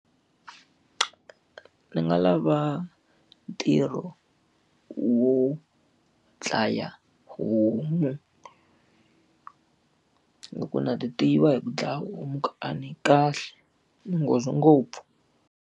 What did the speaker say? Ni nga lava ntirho wo dlaya homu hikuva na ti tiva hi ku dlaya homu ku a ni kahle, ni nghozi ngopfu.